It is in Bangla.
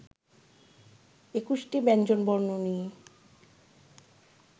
একুশটি ব্যঞ্জনবর্ণ নিয়ে